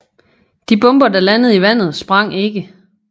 De bomber der landede i vandet sprang ikke